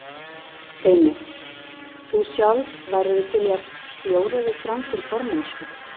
Heimir: Þú sjálf, værirðu til í að bjóða þig fram til formennsku?